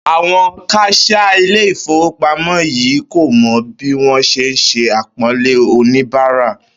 Àwo̩n kas̩iá ilé ìfowópamó̩ yii kò mo̩ bí wó̩n s̩e ń s̩e àpó̩nlé oníbàárà